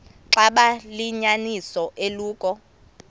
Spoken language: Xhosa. xaba liyinyaniso eloku